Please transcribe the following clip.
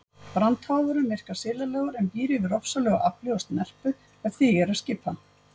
Brandháfurinn virkar silalegur en býr yfir ofsalegu afli og snerpu ef því er að skipa.